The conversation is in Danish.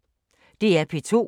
DR P2